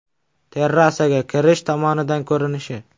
Terrasaga kirish tomonidan ko‘rinishi.